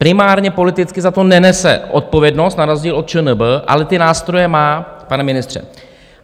Primárně politicky za to nenese odpovědnost na rozdíl od ČNB, ale ty nástroje má, pane ministře.